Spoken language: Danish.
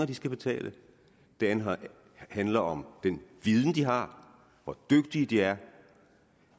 de skal betale det handler om den viden de har om hvor dygtige de er